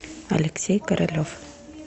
алексей королев